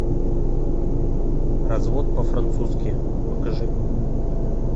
развод по французски покажи